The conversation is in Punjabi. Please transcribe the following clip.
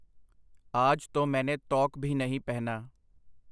ਆਜ ਤੋ ਮੈਨੇ ਤੌਕ ਭੀ ਨਹੀਂ ਪਹਿਨਾ.